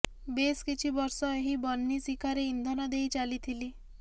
ବେଶ କିଛି ବର୍ଷ ଏହି ବହ୍ନି ଶିଖାରେ ଇନ୍ଧନ ଦେଇ ଚାଲିଥିଲି